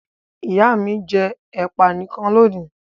Ìyá mi jẹ ẹ̀pà nìkan lónìí.